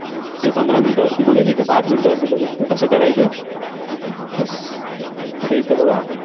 इथं पंधरा minute वरती बघेन, इथं पाच minute वरती बघेन. तर कसं करायचं? Yes आता इथं बघा.